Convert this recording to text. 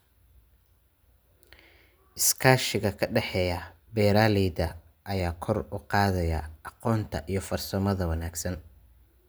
Iskaashiga ka dhexeeya beeralayda ayaa kor u qaadaya aqoonta iyo farsamada wanaagsan.